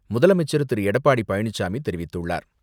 முதலமைச்சர் திரு.எடப்பாடி பழனிசாமி தெரிவித்துள்ளார்.